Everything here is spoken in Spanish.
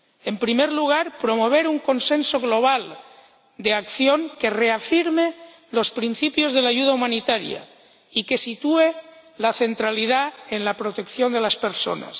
En primer lugar, promover un consenso global de acción que reafirme los principios de la ayuda humanitaria y que se centre en la protección de las personas.